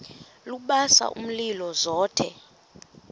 lubasa umlilo zothe